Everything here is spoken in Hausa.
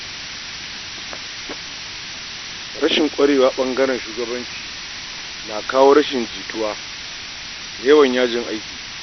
Rashin ƙwarewa ɓangaren shugabanci na kawo rashin jituwa da yawan yajin aiki.